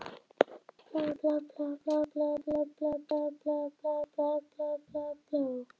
Rúsínan í pylsuendanum var sögulegur reiðtúr frá Þingvöllum til Bifrastar í Borgarfirði.